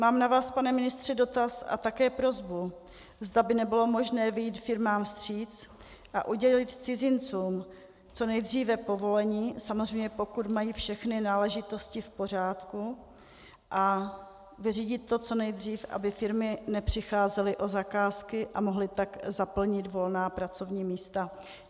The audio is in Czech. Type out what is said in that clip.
Mám na vás, pane ministře, dotaz a také prosbu, zda by nebylo možné vyjít firmám vstříc a udělit cizincům co nejdříve povolení, samozřejmě pokud mají všechny náležitosti v pořádku, a vyřídit to co nejdřív, aby firmy nepřicházely o zakázky a mohly tak zaplnit volná pracovní místa.